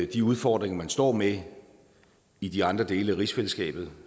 de udfordringer man står med i de andre dele af rigsfællesskabet